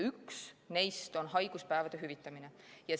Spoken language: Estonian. Üks neist on haiguspäevade hüvitamine.